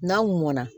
N'a mɔna